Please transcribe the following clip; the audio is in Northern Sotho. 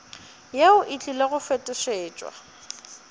yeo e tlile go fetošetšwa